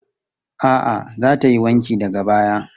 A'a, za ta yi wankin daga baya.